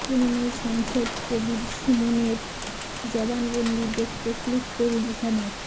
তৃণমূল সাংসদ কবীর সুমনের জবানবন্দি দেখতে ক্লিক করুন এখানে